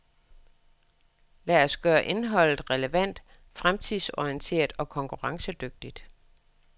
Lad os gøre indholdet relevant, fremtidsorienteret, og konkurrencedygtigt.